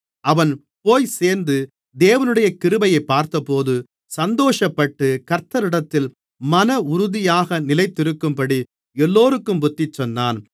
அவன் போய்ச்சேர்ந்து தேவனுடைய கிருபையைப் பார்த்தபோது சந்தோஷப்பட்டு கர்த்தரிடத்தில் மனஉறுதியாக நிலைத்திருக்கும்படி எல்லோருக்கும் புத்திசொன்னான்